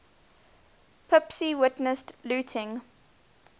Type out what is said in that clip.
pepys witnessed looting